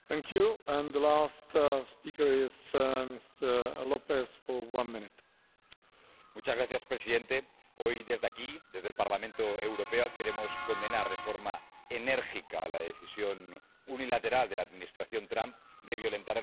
Señor presidente, hoy desde aquí, desde el Parlamento Europeo, queremos condenar de forma enérgica la decisión unilateral de la Administración Trump de violentar el acuerdo nuclear con Irán.